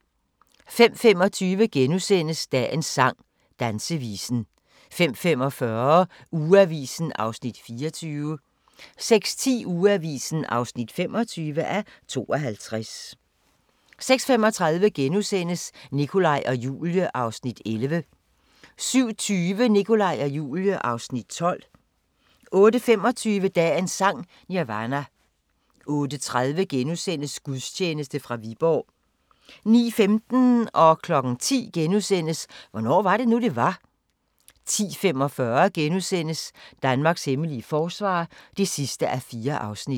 05:25: Dagens sang: Dansevisen * 05:45: Ugeavisen (24:52) 06:10: Ugeavisen (25:52) 06:35: Nikolaj og Julie (Afs. 11)* 07:20: Nikolaj og Julie (Afs. 12) 08:25: Dagens Sang: Nirvana 08:30: Gudstjeneste fra Viborg * 09:15: Hvornår var det nu, det var? * 10:00: Hvornår var det nu, det var? * 10:45: Danmarks hemmelige forsvar (4:4)*